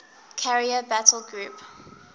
carrier battle group